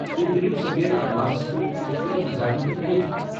تُہہِ تُلِو سفید کنواسس پٮ۪ٹھ خوبصوٗرت نظارن ہُند لُطف ۔